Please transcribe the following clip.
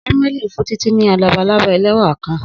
Samueli n fun Titi ni labalaba ẹlẹwa kan.